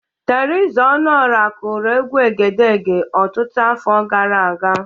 Teriza Ọnụora kụrụ egwu Egedege ọtụtụ afọ grara aga.